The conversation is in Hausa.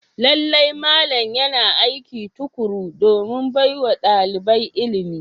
Lallai malam yana aiki tukuru domin baiwa dalibai ilimi.